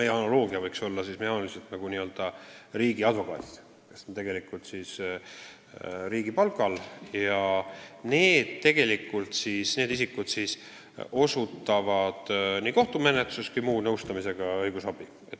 Meie analoogia võiks siis olla n-ö riigiadvokaadid, kes on riigi palgal ja annavad nõu nii kohtumenetluses kui ka muud nõustavat õigusabi.